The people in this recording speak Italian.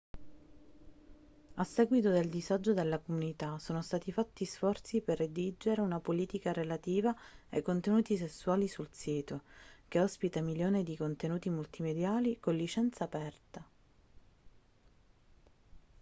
a seguito del disagio della comunità sono stati fatti sforzi per redigere una politica relativa ai contenuti sessuali sul sito che ospita milioni di contenuti multimediali con licenza aperta